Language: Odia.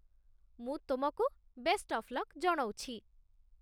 ମୁଁ ତମକୁ ବେଷ୍ଟ୍ ଅଫ୍ ଲକ୍ ଜଣଉଛି ।